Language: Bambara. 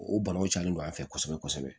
O banaw calen don an fɛ kosɛbɛ kosɛbɛ